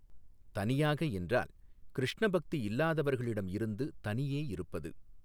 தனியாக என்றால் கிருஷ்ண பக்தி இல்லாதவர்களிடம் இருந்து தனியே இருப்பது.